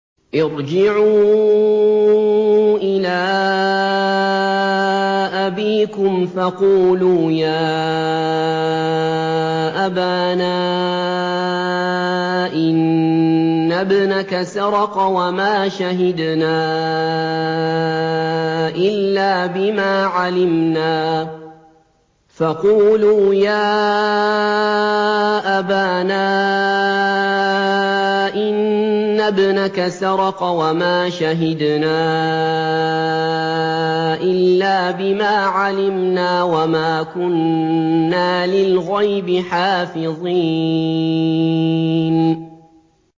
ارْجِعُوا إِلَىٰ أَبِيكُمْ فَقُولُوا يَا أَبَانَا إِنَّ ابْنَكَ سَرَقَ وَمَا شَهِدْنَا إِلَّا بِمَا عَلِمْنَا وَمَا كُنَّا لِلْغَيْبِ حَافِظِينَ